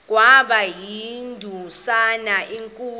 kwaba yindumasi enkulu